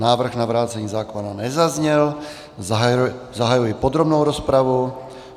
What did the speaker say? Návrh na vrácení zákona nezazněl, zahajuji podrobnou rozpravu.